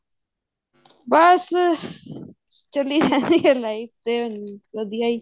ਬਸ ਚੱਲੀ ਜਾਂਦੀ life ਤੇ ਵਧੀਆ ਹੀ